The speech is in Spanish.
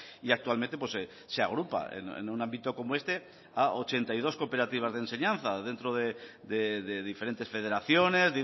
y actualmente se agrupa en un ámbito como este a ochenta y dos cooperativas de enseñanza dentro de diferentes federaciones